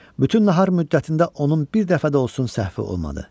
Bütün nahar müddətində onun bir dəfə də olsun səhvi olmadı.